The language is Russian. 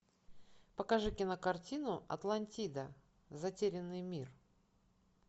покажи кинокартину атлантида затерянный мир